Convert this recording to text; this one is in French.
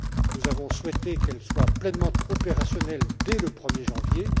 Nous avons souhaité qu'elles soient pleinement opérationnelles dès le 1er janvier.